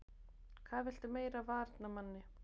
Hvað viltu meira af varnarmanni?